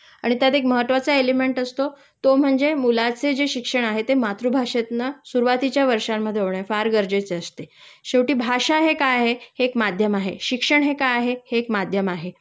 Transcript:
आणि त्यात एक महत्वाचा एलिमेंट असतो तो म्हणजे मुलाचे जे शिक्षण आहे ते मातृभाषेतनं सुरुवातीच्या वर्षांमध्ये होणे फार गरजेचे असते. शेवटी भाशा हे काय आहे हे एक माध्यम आहे.शिक्षण हे काय आहे हे एक माध्यम आहे